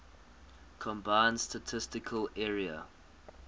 combined statistical area